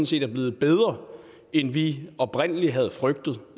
set er blevet bedre end vi oprindelig havde frygtet